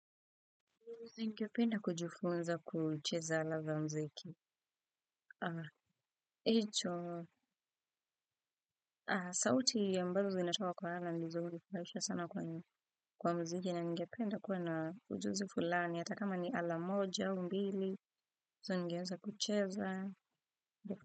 Ningependa kujifunza kucheza ala za mziki. Hicho, sauti ambazo zinatoka kwa ala ndizo hunifurahisha sana kwa muziki na ningependa kuwa na ujuzi fulani. Ata kama ni ala moja aumbili, hizo ningeanza kucheza.